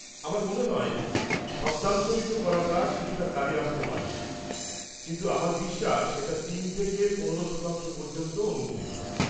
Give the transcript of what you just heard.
আমার মনে হয় শব্দান্তরিত করাটা কিছুটা কাজে আসতে পারে, কিন্তু আমার বিশ্বাস সেটা তিন থেকে পনেরো শতাংশ পর্যন্ত অনুমোদিত।